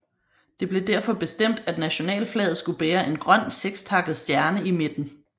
Det blev derfor bestemt at nationalflaget skulle bære en grøn sekstakket stjerne i midten